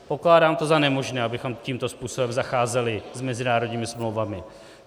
Pokládám to za nemožné, abychom tímto způsobem zacházeli s mezinárodními smlouvami.